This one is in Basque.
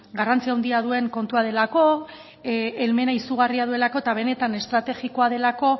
garrantzia handia duen kontua delako helmena izugarria duelako eta benetan estrategikoa delako